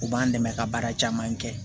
U b'an dɛmɛ ka baara caman kɛ